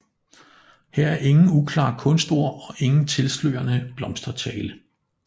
Her er ingen uklare kunstord og ingen tilslørende blomstertale